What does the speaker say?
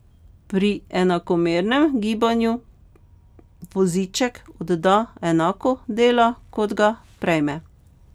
Pri enakomernem gibanju voziček odda enako dela, kot ga prejme.